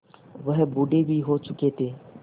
वह बूढ़े भी हो चुके थे